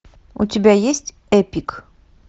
у тебя есть эпик